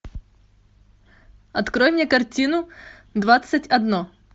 открой мне картину двадцать одно